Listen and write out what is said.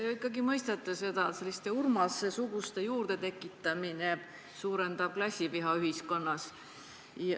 Te ju ikkagi mõistate seda, et selliste Urmase-suguste juurdetekitamine suurendab klassiviha ühiskonnas.